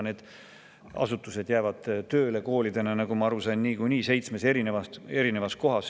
Need asutused jäävad koolidena tööle, nii nagu ma aru sain, niikuinii seitsmes eri kohas.